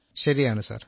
ശരിയാണ് സർ